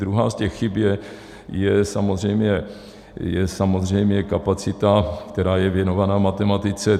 Druhá z těch chyb je samozřejmě kapacita, která je věnovaná matematice.